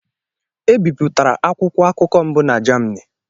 E bipụtara akwụkwọ akụkọ mbụ na Germany